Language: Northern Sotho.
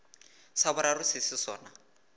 sa boraro se se sona